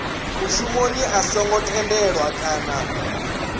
mushumoni a songo tendelwa kana